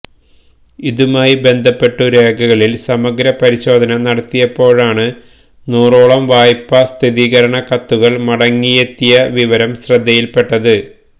ഇതുമായി ബന്ധപ്പെട്ടു രേഖകളിൽ സമഗ്ര പരിശോധന നടത്തിയപ്പോഴാണ് നൂറോളം വായ്പ സ്ഥിരീകരണ കത്തുകൾ മടങ്ങിയെത്തിയ വിവരം ശ്രദ്ധയിൽപ്പെട്ടത്